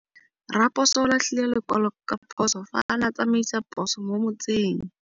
Raposo o latlhie lekwalô ka phosô fa a ne a tsamaisa poso mo motseng.